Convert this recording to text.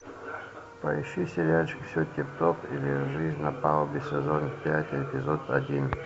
поищи сериальчик все тип топ или жизнь на палубе сезон пять эпизод один